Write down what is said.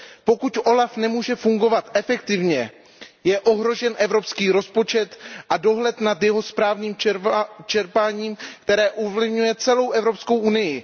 Pokud OLAF nemůže fungovat efektivně, je ohrožen evropský rozpočet a dohled nad jeho správným čerpáním, což ovlivňuje celou Evropskou unii.